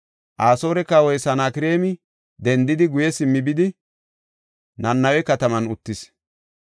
Asoore kawoy Sanakreemi dendidi, guye simmi bidi, Nanawe kataman uttis.